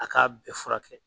A k'a bɛɛ furakɛ.